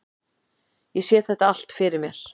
Ég sé þetta allt fyrir mér.